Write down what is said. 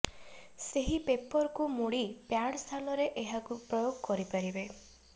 ସେହି ପେପରକୁ ମୋଡି ପ୍ୟାଡ୍ ସ୍ଥାନରେ ଏହାକୁ ପ୍ରୟୋଗ କରିପାରିବେ